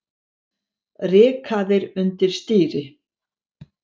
Rykaðir undir stýri